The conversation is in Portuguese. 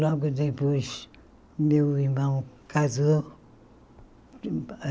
Logo depois, meu irmão casou.